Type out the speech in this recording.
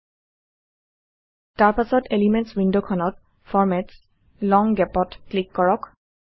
160 তাৰ পাছ্ত এলিমেণ্টছ ৱিণ্ডখনত ফৰমেটছগত লং Gap ত ক্লিক কৰক